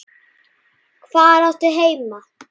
Hvar áttu heima?